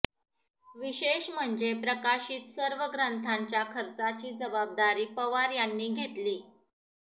विशेष म्हणजे प्रकाशित सर्व ग्रंथांच्या खर्चाची जबाबदारी पवार यांनी घेतली